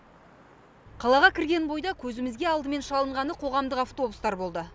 қалаға кірген бойда көзімізге алдымен шалынғаны қоғамдық автобустар болды